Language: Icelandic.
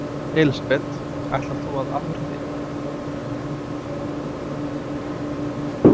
Elísabet: Ætlar þú að áfrýja?